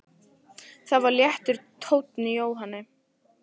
Það var léttur tónn í Jóhanni.